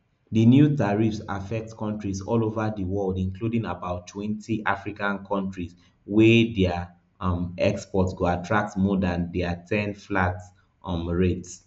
di new tariffs affect countrys all ova di world including about twenty african countrys wey dia um exports go attract more dan di ten flat um rate